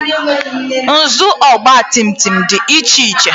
nhazi ọgba tum tum dị iche iche